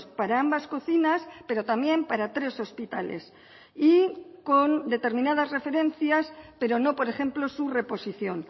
para ambas cocinas pero también para tres hospitales y con determinadas referencias pero no por ejemplo su reposición